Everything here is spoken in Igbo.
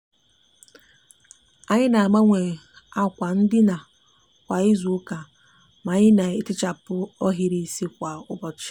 anyi n'agbanwe akwa ndina kwa izuuka ma anyi n'etichapu ohiri isi kwa ututu.